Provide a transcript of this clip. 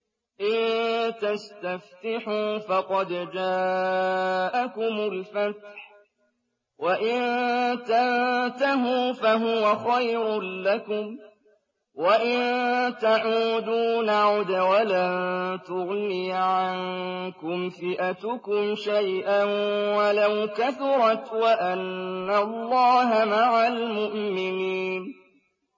إِن تَسْتَفْتِحُوا فَقَدْ جَاءَكُمُ الْفَتْحُ ۖ وَإِن تَنتَهُوا فَهُوَ خَيْرٌ لَّكُمْ ۖ وَإِن تَعُودُوا نَعُدْ وَلَن تُغْنِيَ عَنكُمْ فِئَتُكُمْ شَيْئًا وَلَوْ كَثُرَتْ وَأَنَّ اللَّهَ مَعَ الْمُؤْمِنِينَ